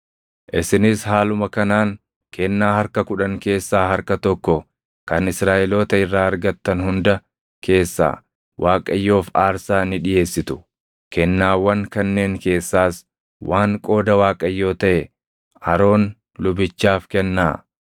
Isinis haaluma kanaan kennaa harka kudhan keessaa harka tokko kan Israaʼeloota irraa argatan hunda keessaa Waaqayyoof aarsaa ni dhiʼeessitu; kennaawwan kanneen keessaas waan qooda Waaqayyoo taʼe Aroon lubichaaf kennaa.